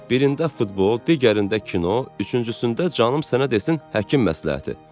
Birində futbol, digərində kino, üçüncüsündə canım sənə desin həkim məsləhəti.